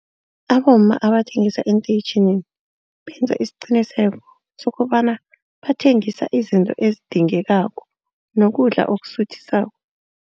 Abomma abathengisa eenteyitjhini benza isiqiniseko sokobana bathengisa izinto ezidingekako nokudla okusuthisako.